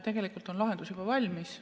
Tegelikult on lahendus juba valmis.